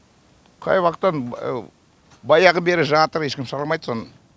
қай уақыттан баяғы бері жатыр ешкім шығармайды соны